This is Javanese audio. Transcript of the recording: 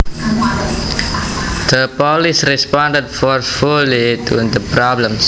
The police responded forcefully to the problems